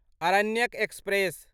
Aranyak express